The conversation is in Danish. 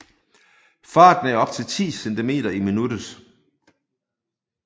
Farten er op til 10 centimeter i minuttet